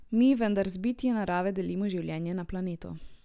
Mi vendar z bitji narave delimo življenje na planetu.